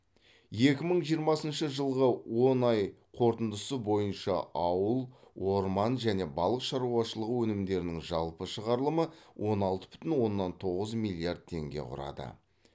екі мың жиырмасыншы жылғы он айы қорытындысы бойынша ауыл орман және балық шаруашылығы өнімдерінің жалпы шығарылымы он алты бүтін оннан тоғыз миллиард теңге құрады